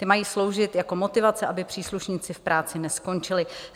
Ty mají sloužit jako motivace, aby příslušníci v práci neskončili.